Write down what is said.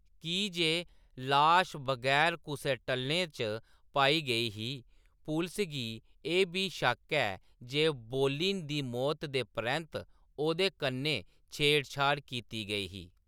की जे लाश बगैर कुसै टल्लें च पाई गेई ही, पुलसै गी एह्‌‌ बी शक्क ऐ जे बोलिन दी मौत दे परैंत्त ओह्‌दे कन्नै छेड़छाड़ कीती गेई ही।